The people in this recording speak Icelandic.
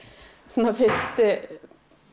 svona fyrstu